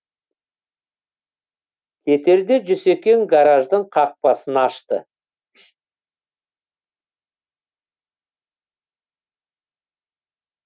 кетерде жүсекең гараждың қақпасын ашты